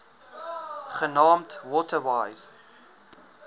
genaamd water wise